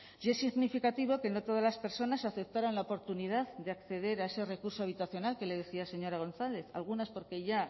y es significativo que no todas las personas aceptaran la oportunidad de acceder a ese recurso habitacional que le decía señora gonzález algunas porque ya